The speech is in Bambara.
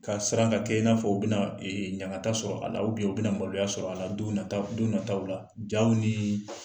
Ka siran ka kɛ i n'a fɔ u bɛna ee ɲaganta sɔrɔ a la, u bɛna na maloya sɔrɔ a la don nataw don nataw la, jaw niii